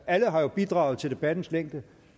alle har jo bidraget til debattens længde